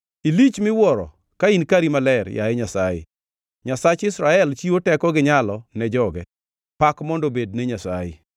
nikech Nyasaye biro reso Sayun kendo obiro gero dala mag Juda kendo. Eka ji nodag kanyo kendo ginikawe kaka margi;